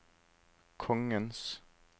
kongens